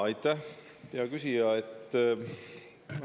Aitäh, hea küsija!